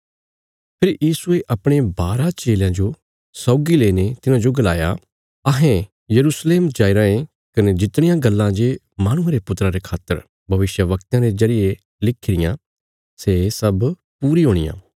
फेरी यीशुये अपणे बारा चेलयां जो सौगी लेईने तिन्हाजो गलाया अहें यरूशलेम जाई रायें कने जितणियां गल्लां जे माहणुये रे पुत्रा रे खातर भविष्यवक्तयां रे जरिये लिखी रियां सै सब पूरी हुणियां